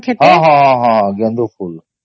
ହଁ ହଁ ହଁ ଗେଂଡୁ ଫୁଲ